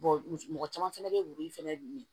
mɔgɔ caman fɛnɛ bɛ ye wori fɛnɛ